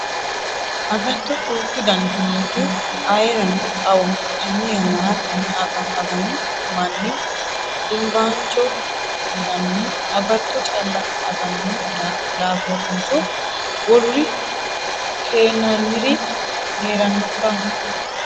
Agatto duuchu daniti nootti ayeerano xawoho tene yannara tene agano manni dimbacho yinannihu agatto calla agano daafotinso woluri keenaniri heeranokka ?